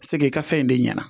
se k'i ka fɛn in de ɲɛna